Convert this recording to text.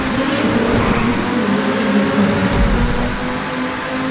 девочка тоненько вскрикнула и выбежала из кухни